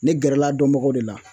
Ne gɛrɛl'a dɔnbagaw de la